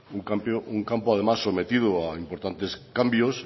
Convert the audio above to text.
un campo además sometido a importantes cambios